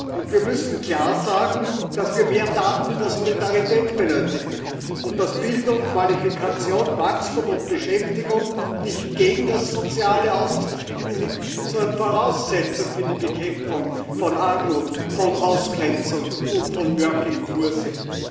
Und wir müssen klar sagen, dass wir mehr Taten der Solidarität benötigen, und dass Bildung, Qualifikation, Wachstum und Beschäftigung nicht gegen das Soziale auszuspielen, sondern Voraussetzung für die Bekämpfung von Armut, von Ausgrenzung und von sind